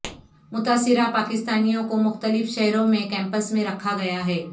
متاثرہ پاکستانیوں کو مختلف شہروں میں کیمپس میں رکھا گیا ہے